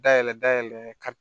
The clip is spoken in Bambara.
Dayɛlɛ dayɛlɛ ka